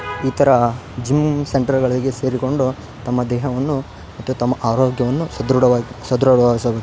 ಈ ತರ ಜಿಮ್ಮ್ ಸೆಂಟರ್ಗಳಿಗೆ ಸೇರಿಕೊಂಡು ತಮ್ಮ ದೇಹವನ್ನು ಮತ್ತು ತಮ್ಮ ಆರೋಗ್ಯವನ್ನು ಸದ್ರಡವಾಗಿ --